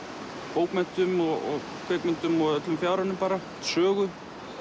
bókmenntum kvikmyndum og öllum fjáranum bara sögu